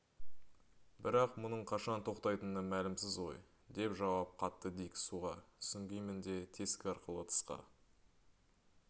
бірақ мұның қашан тоқтайтыны мәлімсіз ғой деп жауап қатты дик суға сүңгимін де тесік арқылы тысқа